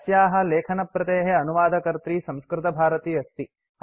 अस्याः लेखनप्रतेः अनुवादकर्त्री संस्कृतभारती अस्ति